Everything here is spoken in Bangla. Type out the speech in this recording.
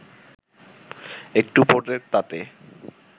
একটু পড়ে তাতে